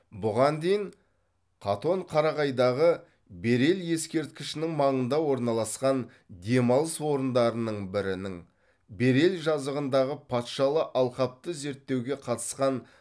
бұған дейін қатон қарағайдағы берел ескерткішінің маңында орналасқан демалыс орындарының бірінің берел жазығындағы патшалы алқапты зерттеуге қатысқан